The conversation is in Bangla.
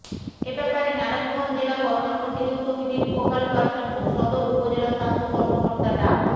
এ ব্যাপারে নারায়ণগঞ্জ জেলা করোনা প্রতিরোধ কমিটির ফোকাল পারসন ও সদর উপজেলা স্বাস্থ্য কর্মকর্তা ডা